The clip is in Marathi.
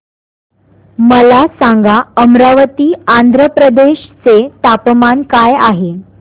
मला सांगा अमरावती आंध्र प्रदेश चे तापमान काय आहे